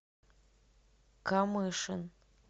камышин